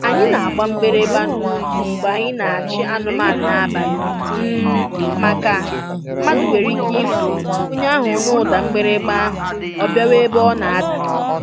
Anyị na-agba mgbịrịmgba n'ụkwụ mgbe anyị na-achị anụmanụ n'abalị um maka mmadụ nwere ike ifu, onye ahụ nụ ụda mgbịrịmgba ahụ ọ bịawa ebe ọ na-ada